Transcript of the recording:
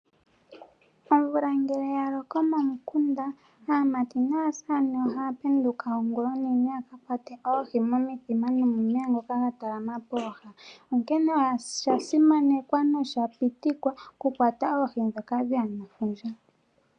Omvula ngele ya loko momukunda, aamati naasamane ohaya penduka ongula onene, yaka kwate oohi, mo mithima no momeya ngoka ga talama pooha, onkee osha simanekwa nosha pitikwa, oku kwata oohi dhoka dheya nefundja.